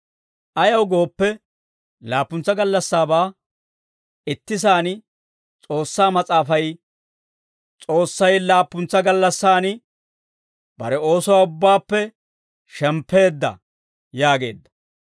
Ayaw gooppe, laappuntsa gallassaabaa ittisaan S'oossaa Mas'aafay, «S'oossay laappuntsa gallassan bare oosuwaa ubbaappe shemppeedda» yaageedda.